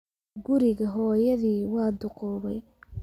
Guriga hooyadii waa duqoobay